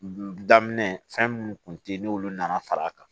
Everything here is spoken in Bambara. daminɛ fɛn minnu kun tɛ ye n'olu nana far'a kan